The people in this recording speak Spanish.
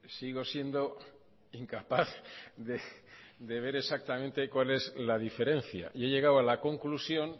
sigo siendo incapaz de ver exactamente cuál es la diferencia y he llegado a la conclusión